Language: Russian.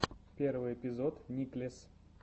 первый эпизод никлесс